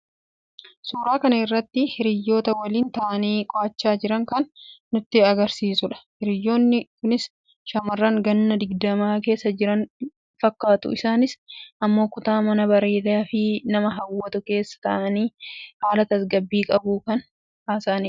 suuraa kana irratti hiriyoota waliin taa'anii qo'achaa jiran kan nutti agarsiisu dha. hiriyoonni kunis shaamarran ganna digdamaa keessa jiran fakkaatu. isaanis immoo kutaa manaa bareedaafi nama hawwatu keessa taa'anii haala tasgabbii qabuun kan haasa'anidha.